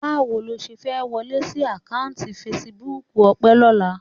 Báwo lo ṣe fẹ́ wọlé sí àkáùntì fesibúùkù Ọpẹ́ lọ́la?